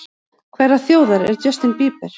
Hverrar þjóðar er Justin Bieber?